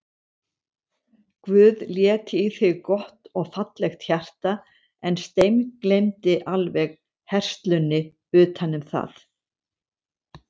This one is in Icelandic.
Guð lét í þig gott og fallegt hjarta en steingleymdi alveg herslunni utanum það.